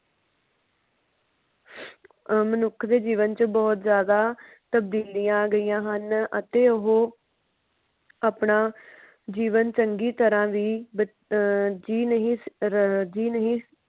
ਅਮ ਮਨੁੱਖ ਦੇ ਜੀਵਨ ਚ ਬਹੁਤ ਜ਼ਿਆਦਾ ਤਬਦੀਲੀਆਂ ਓੰਦਿਆਂ ਹਨ ਅਤੇ ਓਹੋ ਆਪਣਾ ਜੀਵਨ ਚੰਗੀ ਤਰ੍ਹਾਂ ਵੀ ਅਹ ਜੀ ਨਹੀਂ ਜੀ ਨਹੀਂ।